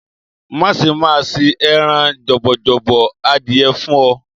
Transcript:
Máa ṣé, màá ṣé ẹran jọ̀bọ̀jọ̀bọ̀ adìẹ fún ọ.